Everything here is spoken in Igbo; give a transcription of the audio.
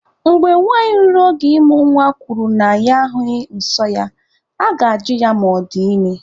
Mgbe nwanyị ruru oge ịmụ nwa kwuru na ya ahụghị nsọ ya, aga-ajụ ya ma ọ dị ime.